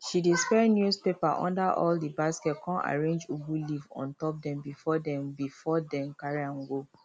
she dey spread newspaper under all the basket con arrange ugu leaf ontop dem before dem before dem carry am go